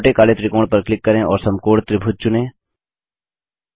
छोटे काले त्रिकोण पर क्लिक करें और समकोण त्रिभुज चुनें